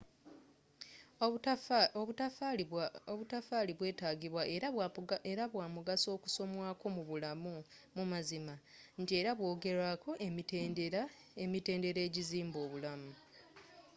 obutaffaali bwetaagibwa era bwa mugaso okusomwako mu bulamu mu mazima nti era bwogerwako emitendera egizimba obulamu